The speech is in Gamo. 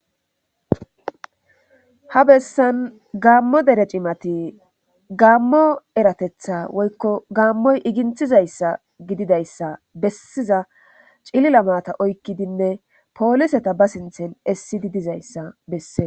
Ha bessan gammo dere cimati gaammo eratetha woykko gaammoy iginthizayssa gididayssa bessiza cilila maata oykkidinne pooliseta ba sinthen essi didizayssa bessee.